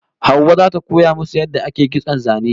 Hauwa zata koya musu yadda ake kitson zane